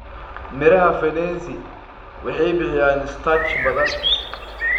Midhaha fenesi waxay bixiyaan starch badan.